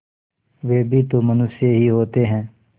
वे भी तो मनुष्य ही होते हैं